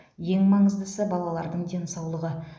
ең маңыздысы балалардың денсаулығы